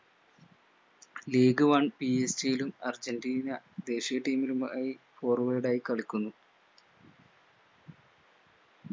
league one ലും Argentina ദേശീയ team ലുമായി forward ആയി കളിക്കുന്നു